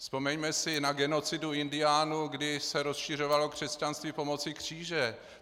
Vzpomeňme si na genocidu indiánů, kdy se rozšiřovalo křesťanství pomocí kříže.